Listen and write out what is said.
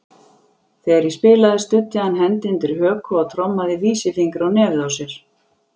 Þegar ég spilaði studdi hann hendi undir höku og trommaði vísifingri á nefið á sér.